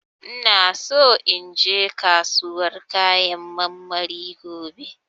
ina so inje kasuwan kayan marmari gobe.